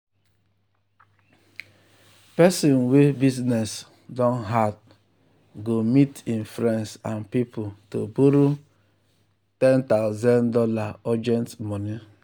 person wey business don hard go meet im friends and people to borrow one thousand dollars0 urgent money.